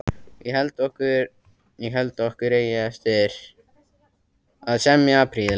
Ég held okkur eigi eftir að semja prýðilega.